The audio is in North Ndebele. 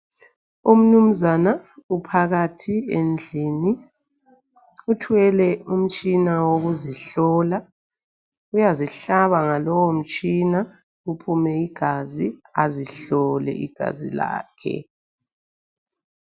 Umnumzana uphakathi endlini uthwele umtshina wokuzihlola uyazihlaba ngalowo mtshina kuphume igazi azihlole igazi lakhe.